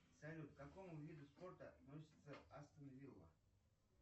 салют к какому виду спорта относится астон вилла